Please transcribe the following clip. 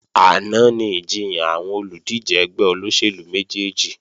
Àná ni ìjiyàn àwọn olùdíje ẹgbẹ́ olóṣèlú méjèjì